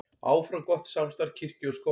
Áfram gott samstarf kirkju og skóla